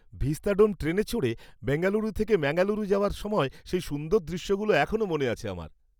Vistadome ট্রেনে চড়ে বেঙ্গালুরু থেকে ম্যাঙ্গালুরু যাওয়ার সময় সেই সুন্দর দৃশ্যগুলো এখনও মনে আছে আমার।